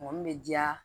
Mɔgɔ min bɛ diya